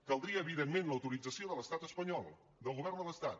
caldria evidentment l’autorització de l’estat espanyol del govern de l’estat